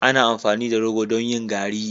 Ana amfani da rogo don yin garri.